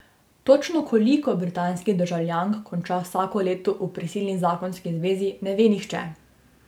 Točno koliko britanskih državljank konča vsako leto v prisilni zakonski zvezi, ne ve nihče.